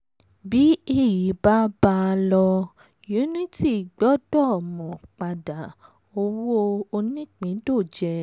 bí èyí bá bá a lọ unity gbọ́dọ̀ mọ̀ padà owó onípindòjé.